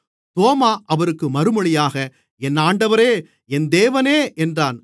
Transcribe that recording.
தோமா அவருக்கு மறுமொழியாக என் ஆண்டவரே என் தேவனே என்றான்